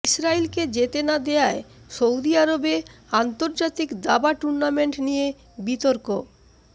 ইসরায়েলকে যেতে না দেয়ায় সৌদি আরবে আন্তর্জাতিক দাবা টুর্নামেন্ট নিয়ে বিতর্ক